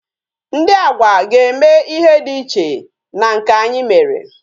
Ndị Agwa ga-eme ihe dị iche na nke anyị mere